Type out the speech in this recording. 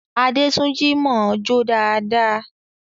Adétúnjí mọ̀ọ́ jó dáadáa